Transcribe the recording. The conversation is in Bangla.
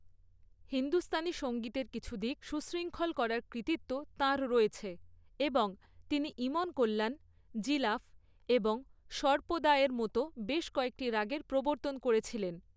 হিন্দুস্তানি সঙ্গীতের কিছু দিক সুশৃঙ্খল করার কৃতিত্ব তাঁর রয়েছে এবং তিনি ইমন কল্যাণ, জিলাফ এবং সর্পদার মতো বেশ কয়েকটি রাগের প্রবর্তন করেছিলেন।